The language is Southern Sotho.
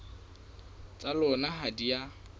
tsa lona ha di a